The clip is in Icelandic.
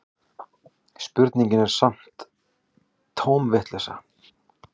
Spurningin er sem sagt tóm vitleysa